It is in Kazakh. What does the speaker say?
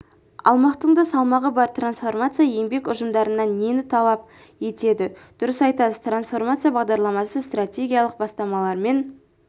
алмақтың да салмағы бар трансформация еңбек ұжымдарынан нені талап етеді дұрыс айтасыз трансформация бағдарламасы стратегиялық бастамалармен